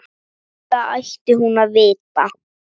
Þetta ætti hún að vita.